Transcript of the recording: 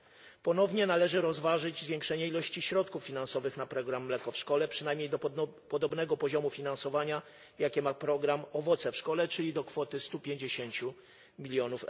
Należy ponownie rozważyć zwiększenie ilości środków finansowych na program Mleko w szkole przynajmniej do podobnego poziomu finansowania, jaki ma program Owoce w szkole, czyli do kwoty 150 mln.